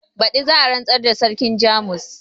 badi za a rantsar da sarkin jamus